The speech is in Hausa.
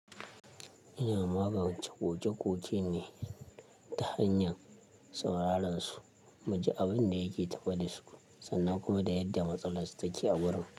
Ina magance ƙoke-ƙoke ne ta hanyan sauraren su, mu ji abun da yake tafe da su sannan kuma da yadda matsalar su take a gurin.